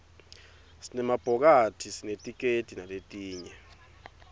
sinema bhokathisinetikedi naletinye